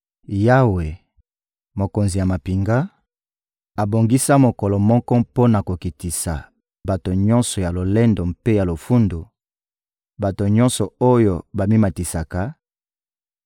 Yawe, Mokonzi ya mampinga, abongisa mokolo moko mpo na kokitisa bato nyonso ya lolendo mpe ya lofundu, bato nyonso oyo bamimatisaka,